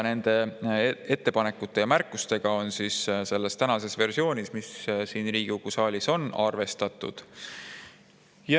Nende ettepanekute ja märkustega on selles tänases versioonis, mis siin Riigikogu saalis on, arvestatud.